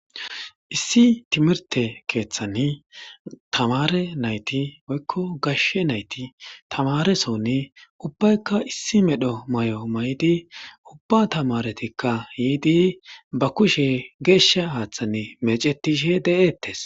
Issi timirte keeththanni tamare nayti woykko gashshe nayti tamare soni ubbaykka issi medho may7o may7di ubba tamaretikka yiidi ba kushe geeshsha haaththann mecetishe de7eettes.